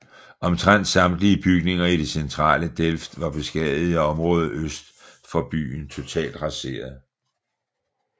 Omtrent samtlige bygninger i det centrale Delft var beskadiget og området øst for byen totalt raseret